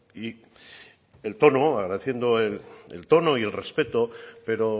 y el tono agradeciendo el tono y el respeto pero